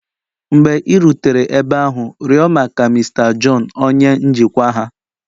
Mgbe ị rutere ebe ahụ, rịọ maka Mr John onye njikwa ha.